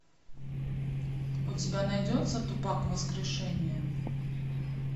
у тебя найдется тупак воскрешение